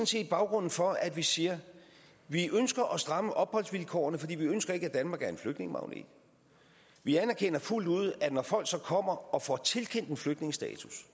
set baggrunden for at vi siger at vi ønsker at stramme opholdsvilkårene for vi ønsker ikke at danmark skal være en flygtningemagnet vi anerkender fuldt ud at når folk kommer og får tilkendt en flygtningestatus